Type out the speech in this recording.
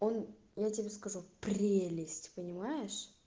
он я тебе скажу прелесть понимаешь